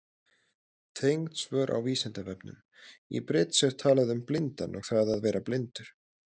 Tengd svör á Vísindavefnum: Í bridds er talað um blindan og það að vera blindur.